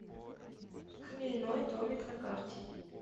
хмельной домик на карте